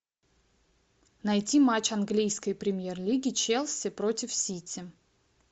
найти матч английской премьер лиги челси против сити